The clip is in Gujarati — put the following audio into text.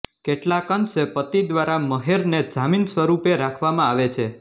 કેટલાકઅંશે પતિ દ્વારા મહેરને જામીન સ્વરૂપે રાખવામાં આવે છે